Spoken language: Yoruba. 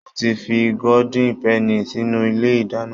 Mo ti fi gódín pẹnì sínú ilé ìdáná